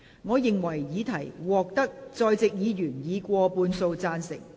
我認為議題獲得在席議員以過半數贊成。